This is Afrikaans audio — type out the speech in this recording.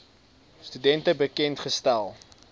studente bekend gestel